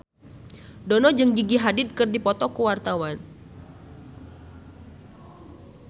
Dono jeung Gigi Hadid keur dipoto ku wartawan